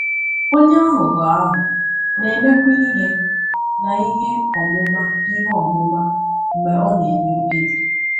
Onye aghụghọ ahụ na-emekwa ihe na ihe ọmụma ihe ọmụma mgbe ọ na-eme mkpebi.